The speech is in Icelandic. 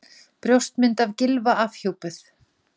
Brjóstmynd af Gylfa afhjúpuð